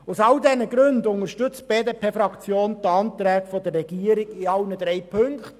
Aus all diesen Gründen unterstützt die BDP-Fraktion die Anträge der Regierung in allen drei Punkten.